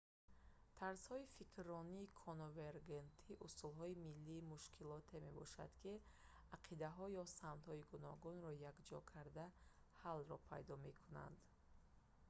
тарзҳои фикрронии конвергентӣ усулҳои ҳалли мушкилоте мебошанд ки ақидаҳо ё самтҳои гуногунро якҷоя карда ҳаллро пайдо мекунанд